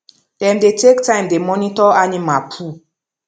dem dey take time dey monitor animal poo